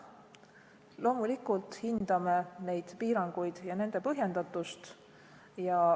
Loomulikult hindame neid piiranguid ja nende põhjendatust.